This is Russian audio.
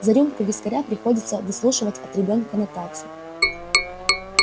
за рюмку вискаря приходится выслушивать от ребёнка нотацию